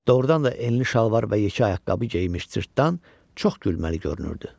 Doğrudan da enli şalvar və yekə ayaqqabı geyinmiş cırtdan çox gülməli görünürdü.